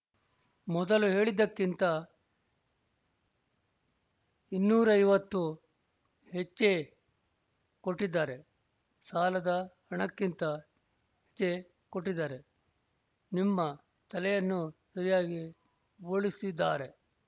ಮೊದಲು ಹೇಳಿದ್ದಕ್ಕಿಂತ ಇನ್ನೂರೈವತ್ತು ಹೆಚ್ಚೇ ಕೊಟ್ಟಿದ್ದಾರೆ ಸಾಲದ ಹಣಕ್ಕಿಂತ ಹೆಚ್ಚೇ ಕೊಟ್ಟಿದ್ದಾರೆ ನಿಮ್ಮ ತಲೆಯನ್ನು ಸರಿಯಾಗಿ ಬೋಳಿಸಿದ್ದಾರೆ